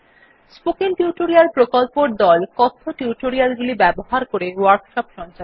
spoken tutorial প্রকল্পর দল কথ্য টিউটোরিয়াল গুলি ব্যবহার করে ওয়ার্কশপ সঞ্চালন করে